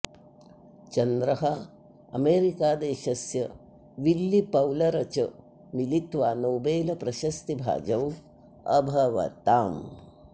चन्द्रः अमेरिकादेशस्य Willy Fowler च मिलित्वा नोबेल् प्रशस्तिभाजौ अभवताम्